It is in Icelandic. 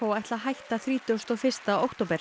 ætla að hætta þrítugasta og fyrsta október